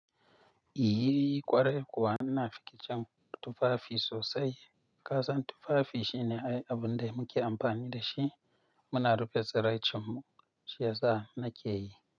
Yi ƙwarai kuwa ina fiki cin tufafi sosai. Kasan tufafi shine ai abun da muke amfani da shi muna rufe tsiracin mu shi yasa nake yi.